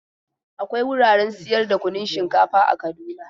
Akwai wuraren sayar da kunun shinkafa a Kaduna.